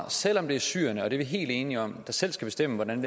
selv om det er syrerne og det er vi helt enige om der selv skal bestemme hvordan